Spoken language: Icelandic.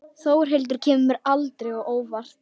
Þórhildur kemur mér aldrei á óvart.